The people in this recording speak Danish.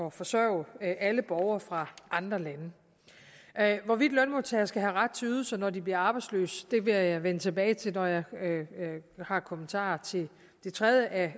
at forsørge alle borgere fra andre lande hvorvidt lønmodtagere skal have ret til ydelser når de bliver arbejdsløse vil jeg vende tilbage til når jeg har kommentarer til det tredje af